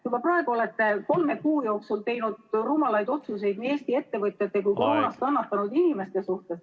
Juba praegu olete te kolme kuu jooksul teinud rumalaid otsuseid nii Eesti ettevõtjate kui ka koroona pärast kannatanud inimeste suhtes.